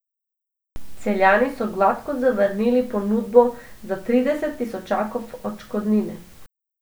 Celjani so gladko zavrnili ponudbo za trideset tisočakov odškodnine.